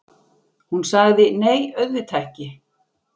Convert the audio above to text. Hún sagði: Nei, auðvitað ekki.